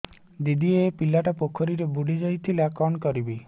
ଦିଦି ଏ ପିଲାଟି ପୋଖରୀରେ ବୁଡ଼ି ଯାଉଥିଲା କଣ କରିବି